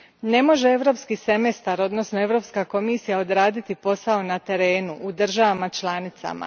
Ne može Europski semestar, odnosno Europska komisija odraditi posao na terenu, odnosno u državama članicama.